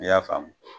I y'a faamu